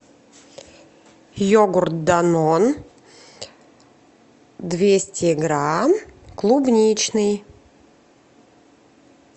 йогурт данон двести грамм клубничный